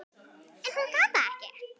En hún gat það ekki.